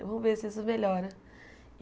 Eu vou ver se isso melhora.